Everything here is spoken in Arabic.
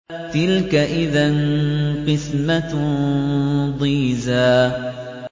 تِلْكَ إِذًا قِسْمَةٌ ضِيزَىٰ